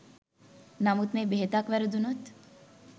නමුත් මේ බෙහෙතක් වැරදුනොත්